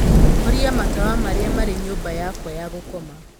horia matawa marĩa marĩ nyũmba yakwa ya gũkoma